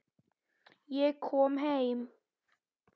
Ég kom heim!